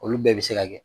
Olu bɛɛ bɛ se ka kɛ